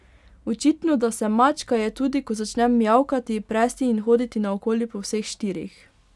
Očitno, da sem mačka, je tudi, ko začnem mijavkati, presti in hoditi naokoli po vseh štirih.